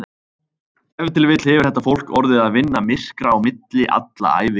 Ef til vill hefur þetta fólk orðið að vinna myrkra á milli alla ævi.